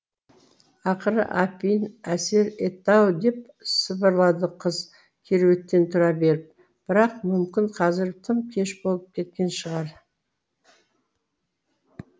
ақыры апиын әсер етті ау деп сыбырлады қыз кереуеттен тұра беріп бірақ мүмкін қазір тым кеш болып кеткен шығар